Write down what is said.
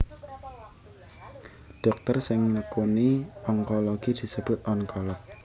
Dhokter sing nekuni onkologi disebut onkolog